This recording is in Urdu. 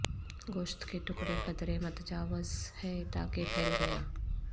گوشت کے ٹکڑے قدرے متجاوز ہے تاکہ پھیل گیا